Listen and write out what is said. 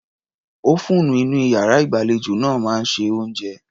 Ófúùnù inú iyàrá ìgbàlejò náà máa ń se oúnjẹ.